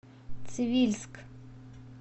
цивильск